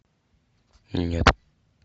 нет